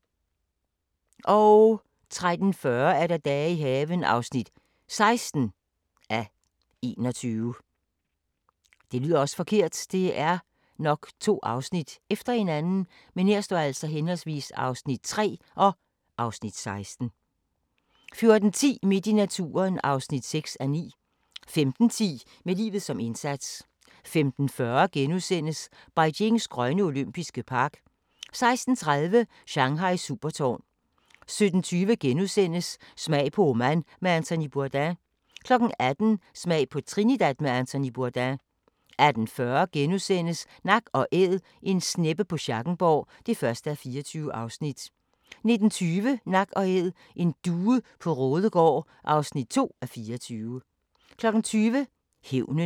13:40: Dage i haven (16:21) 14:10: Midt i naturen (6:9) 15:10: Med livet som indsats 15:40: Beijings grønne olympiske park * 16:30: Shanghais supertårn 17:20: Smag på Oman med Anthony Bourdain * 18:00: Smag på Trinidad med Anthony Bourdain 18:40: Nak & Æd - en sneppe på Schackenborg (1:24)* 19:20: Nak & Æd: En due på Raadegaard (2:24) 20:00: Hævnen